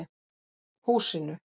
Húsinu